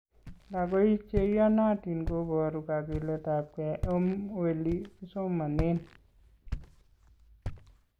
Lakoik chi iyonotin kuporu kakiletapkei om weli kisomonen.